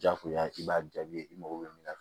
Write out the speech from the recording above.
Jakuya i b'a jaabi i mago bɛ min na